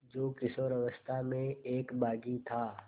जो किशोरावस्था में एक बाग़ी था